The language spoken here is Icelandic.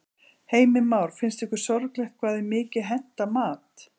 Heimir Már: Finnst ykkur sorglegt hvað er mikið hent af mat?